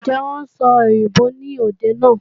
Ǹjẹ́ wọn ó sòyìnbó ní òde náà?